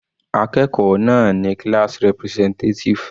Akẹ́kọ̀ọ́ náà ni class representative.